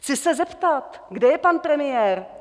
Chci se zeptat, kde je pan premiér?